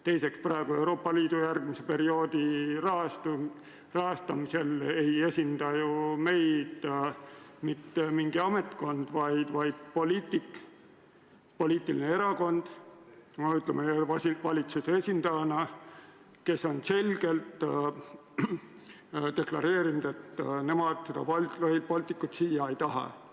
Teiseks, praegu, Euroopa Liidu järgmise perioodi rahastamise kõnelustel ei esinda meid mitte mõni ametkond, vaid valitsuse esindajana poliitik või erakond, kes on selgelt deklareerinud, et nemad Rail Balticut siia ei taha.